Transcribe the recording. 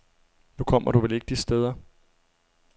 Nu kommer du vel ikke de steder.